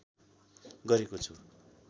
गरेको छु